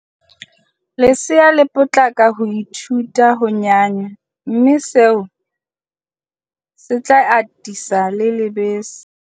Lesea le tla potlaka ho ithuta ho nyanya mme seo se tla atisa le lebese.